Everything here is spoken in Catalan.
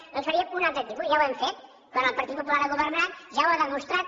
nosaltres en faríem un altre tipus ja ho hem fet quan el partit popular ha governat ja ho ha demostrat